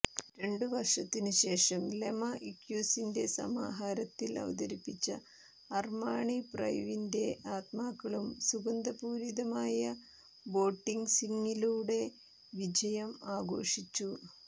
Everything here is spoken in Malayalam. രണ്ടു വർഷത്തിനുശേഷം ലെമാ ഇക്യുസിന്റെ സമാഹാരത്തിൽ അവതരിപ്പിച്ച അർമാണി പ്രൈവിന്റെ ആത്മാക്കളും സുഗന്ധപൂരിതമായ ബോട്ടിക്സിങ്ങിലൂടെ വിജയം ആഘോഷിച്ചു